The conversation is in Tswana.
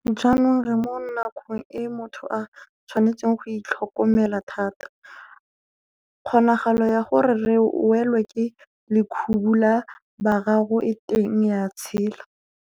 Jaanong re mo nakong eo motho a tshwanetseng go itlhokomela thata. Kgonagalo ya gore re welwe ke lekhubu la boraro e teng ya tshela.